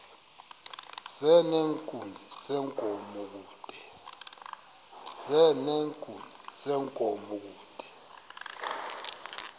nezenkunzi yenkomo kude